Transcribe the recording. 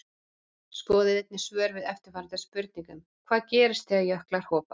Skoðið einnig svör við eftirfarandi spurningum Hvað gerist þegar jöklar hopa?